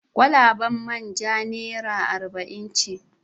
Kwalabar man ja naira arba'in ce.